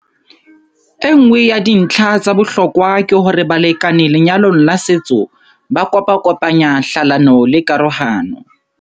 Enngwe ya dintlha tsa bohlokwa ke hore balekane lenyalong la setso ba kopakopanya hlalano le karohano.